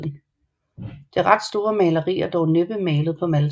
Det ret store maleri er dog næppe malet på Malta